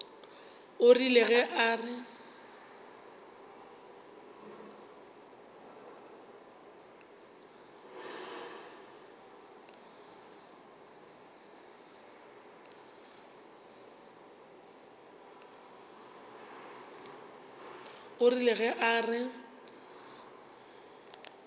o rile ge a re